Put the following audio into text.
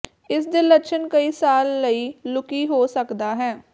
ਇਸ ਦੇ ਲੱਛਣ ਕਈ ਸਾਲ ਲਈ ਲੁਕੀ ਹੋ ਸਕਦਾ ਹੈ